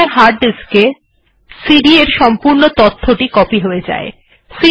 প্রথমে hard disk এ CD এর সম্পূর্ণ তথ্যটি কপি হয়ে যায়